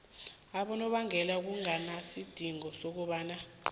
abonobangela kunganasidingo sokobana